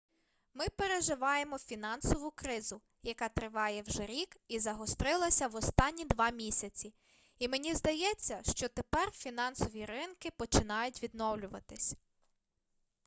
ми переживаємо фінансову кризу яка триває вже рік і загострилася в останні два місяці і мені здається що тепер фінансові ринки починають відновлюватися